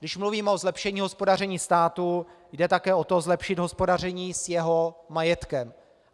Když mluvím o zlepšení hospodaření státu, jde také o to, zlepšit hospodaření s jeho majetkem.